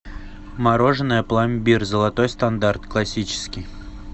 мороженое пломбир золотой стандарт классический